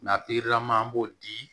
Na an b'o di